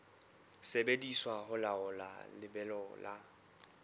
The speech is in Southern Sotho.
sebediswa ho laola lebelo la